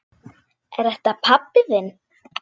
Er þetta pabbi þinn?